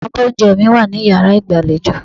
Abọ́ oúnjẹ mi wà ní yàrá ìgbàlejò.